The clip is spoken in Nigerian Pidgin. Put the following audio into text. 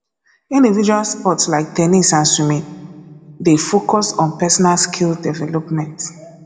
individual sports like ten nis and swimming dey focus on personal skill development